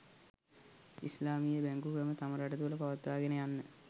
ඉස්ලාමීය බැංකු ක්‍රම තම රට තුළ පවත්වාගෙන යන්න